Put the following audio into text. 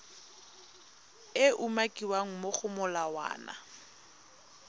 e umakiwang mo go molawana